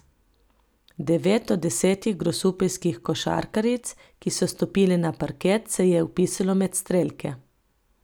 Devet od desetih grosupeljskih košarkaric, ki so stopile na parket, se je vpisalo med strelke.